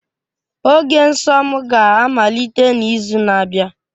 Oge nsọ m ga-amalite n'izu na-abịa